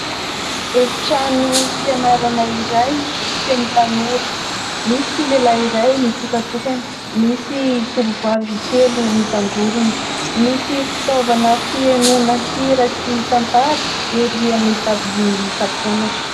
Efitrano fianarana iray, feno tanora : misy lehilahy iray mitokantokana, misy tovovavy telo mitangorona. Misy fitaovana fihainoana hira sy tantara erỳ amin'ny dabilion'ny mpampianatra.